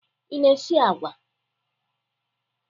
Ị na-esi agwa?